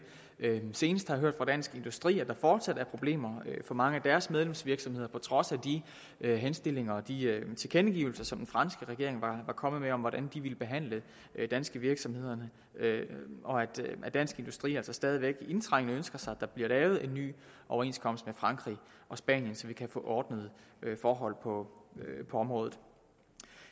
senest har jeg hørt fra dansk industri at der fortsat er problemer for mange af deres medlemsvirksomheder på trods af de henstillinger og de tilkendegivelser som den franske regering var kommet med om hvordan de ville behandle danske virksomheder og at dansk industri altså stadig væk indtrængende ønsker sig at der bliver lavet en ny overenskomst med frankrig og spanien så vi kan få ordnede forhold på området